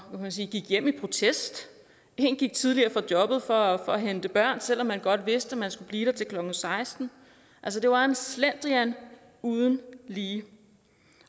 man sige gik hjem i protest og en gik tidligere fra jobbet for at hente børn selv om man godt vidste at man skulle blive der til klokken seksten altså det var en slendrian uden lige